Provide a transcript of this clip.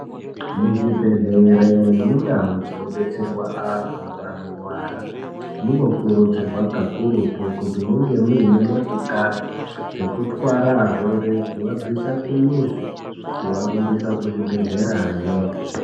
Muzvibhedhlere nemundau dzinobetserwa antu anorwara, munokurudzirwa kakurutu, kuti munge muine motikari ,dzekutwara arwere kuvabvisa kumizi, kuvarumbisa kuzvibhedhlerayo.